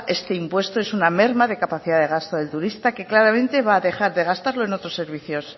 este impuesto es una merma de capacidad de gasto del turista que claramente va a dejar de gastarlo en otros servicios